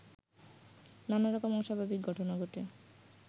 নানা রকম অস্বাভাবিক ঘটনা ঘটে